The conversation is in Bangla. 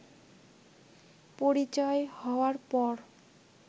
পরিচয় হওয়ার পর